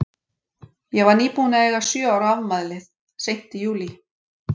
Ég var nýbúin að eiga sjö ára afmælið, seint í júlí.